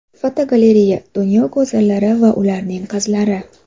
Fotogalereya: Dunyo go‘zallari va ularning qizlari.